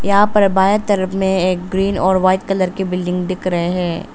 यहां पे बाए तरफ में एक ग्रीन और वाइट कलर के बिल्डिंग दिख रहे हैं।